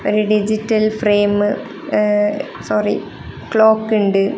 Digital frame ങ് sorry clock ഉണ്ട്.